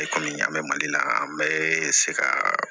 E kɔmi an bɛ mali la yan an bɛ se ka